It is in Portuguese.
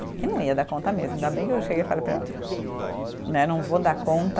E não ia dar conta mesmo, ainda bem que eu cheguei e falei para ele né, não vou dar conta.